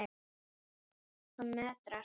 Hann nötrar.